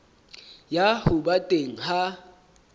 ya ho ba teng ha